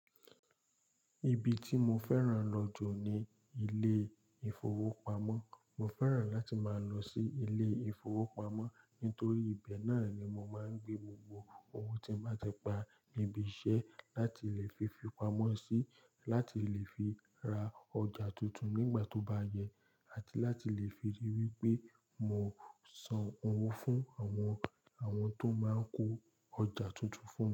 Ibi tí mo fẹ́ràn lọ jù ní ilé ìfowópamọ́. Mo fẹ́ràn láti máa lọ sí ilé ìfowópamọ́ nítorí ibẹ̀ náà ni mo máa ń gbé gbogbo owó tí mo bá ti pa níbi iṣẹ́ láti lè fi fipamọ́ sí láti lè fi ra ọjà tuntun nígbà tó bá yẹ àti láti lè fi ríi wípé mo san owó fún àwọn, àwọn tó máa ń kó ọjà tuntun fún mi.